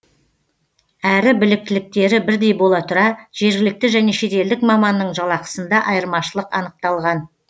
әрі біліктіліктері бірдей бола тұра жергілікті және шетелдік маманның жалақысында айырмашылық анықталған